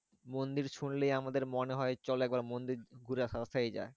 মন্দির শুনলেই আমাদের মনে হয় চলো একবার মন্দির ঘুরে দেখায় যাক।